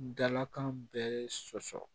Dalakan bɛɛ sosɔ